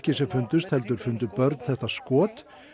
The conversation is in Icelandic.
sem fundust heldur fundu börn þetta skot